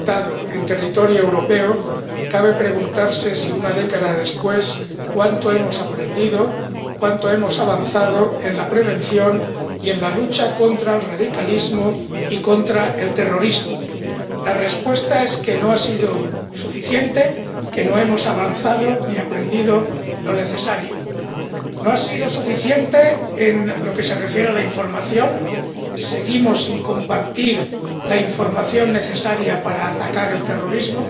Señora Presidenta, viniendo de Madrid, la ciudad que sufrió el mayor atentado en territorio europeo, cabe preguntarse, una década después, cuánto hemos aprendido y cuánto hemos avanzado en la prevención y en la lucha contra el radicalismo y contra el terrorismo. La respuesta es que no ha sido suficiente, que no hemos avanzado ni aprendido lo necesario. No ha sido suficiente en lo que se refiere a la información seguimos sin compartir la información necesaria para atacar el terrorismo.